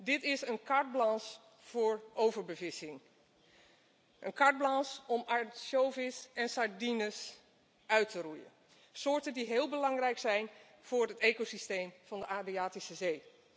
Dit is een carte blanche voor overbevissing, een carte blanche om ansjovis en sardines uit te roeien, soorten die heel belangrijk zijn voor het ecosysteem van de Adriatische Zee.